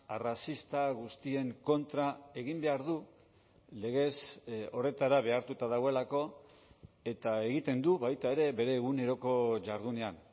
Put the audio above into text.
arrazista guztien kontra egin behar du legez horretara behartuta dagoelako eta egiten du baita ere bere eguneroko jardunean